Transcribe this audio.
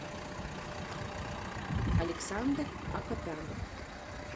александр акопян